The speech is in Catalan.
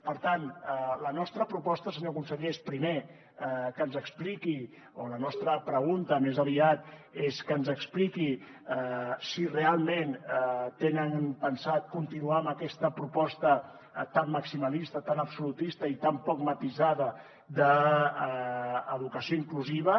per tant la nostra proposta senyor conseller és primer que ens expliqui o la nostra pregunta més aviat és que ens expliqui si realment tenen pensat continuar amb aquesta proposta tan maximalista tan absolutista i tan poc matisada d’educació inclusiva